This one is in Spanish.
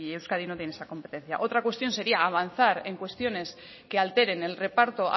euskadi no tiene esa competencia otra cuestión sería avanzar en cuestiones que alteren el reparto